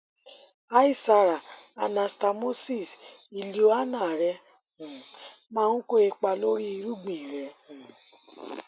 hi sara anastamosis ileoanal rẹ um maa n ko ipa lori irugbin rẹ um